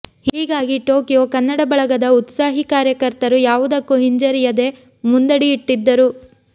ಹೀಗಾಗಿ ಟೋಕಿಯೋ ಕನ್ನಡ ಬಳಗದ ಉತ್ಸಾಹೀ ಕಾರ್ಯಕರ್ತರು ಯಾವುದಕ್ಕೂ ಹಿಂಜರಿಯೆದೆ ಮುಂದಡಿಯಿಟ್ಟರು